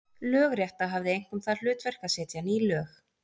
Lögrétta hafði einkum það hlutverk að setja ný lög.